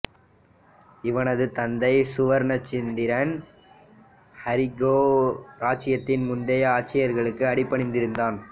இவனது தந்தை சுவர்ணசந்திரன் ஹரிகேள இராச்சியத்தின் முந்தைய ஆட்சியாளர்களுக்கு அடிபணிந்திருந்தான்